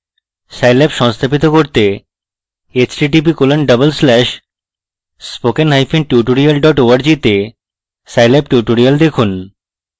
scilab সংস্থাপিত করতে